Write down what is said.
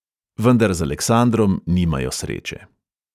Vendar z aleksandrom nimajo sreče.